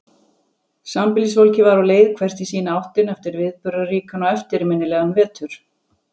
Sambýlisfólkið var á leið hvert í sína áttina eftir viðburðaríkan og eftirminnilegan vetur.